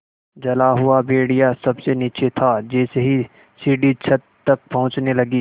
जला हुआ भेड़िया सबसे नीचे था जैसे ही सीढ़ी छत तक पहुँचने लगी